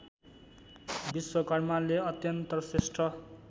विश्वकर्माले अत्यन्त श्रेष्ठ